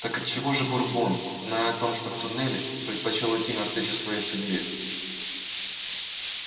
так отчего же бурбон зная о втором туннеле предпочёл идти навстречу своей судьбе